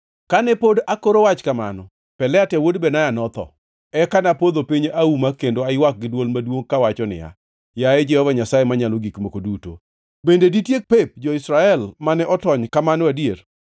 Kane pod akoro wach kamano, Pelatia wuod Benaya notho. Eka napodho piny auma kendo aywak gi dwol maduongʼ kawacho niya, “Yaye, Jehova Nyasaye Manyalo Gik Moko Duto, bende ditiek pep jo-Israel mane otony kamano adier?”